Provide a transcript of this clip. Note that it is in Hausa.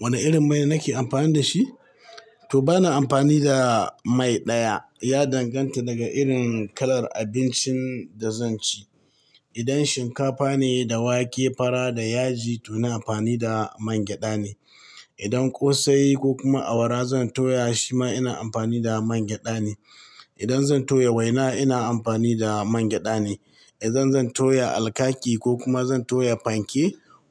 Wane irin mai nake amfani da shi? To bana amfani da mai ɗaya. Ya danganta daga irin kalar abincin da zan ci. Idan shinkafa ne da wake, fara da yaji to ina amfani da man gyada ne. Idan kosai kokuma award zan toya shima ina amfani da award neh idan zan toya waina ina amfani da man gyada ne. Idan zan toya alkaki ko kuma zan toya fanke